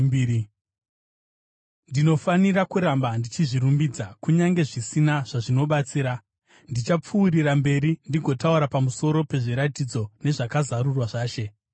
Ndinofanira kuramba ndichizvirumbidza. Kunyange zvisina zvazvinobatsira, ndichapfuurira mberi ndigotaura pamusoro pezviratidzo nezvakazarurwa zvaShe.